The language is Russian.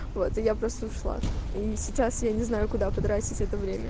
вот и я просто ушла и сейчас я не знаю куда потратить это время